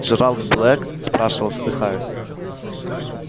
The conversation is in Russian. джералд блэк спрашивал задыхаясь